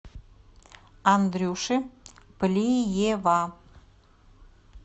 андрюши плиева